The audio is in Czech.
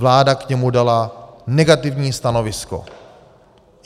Vláda k němu dala negativní stanovisko.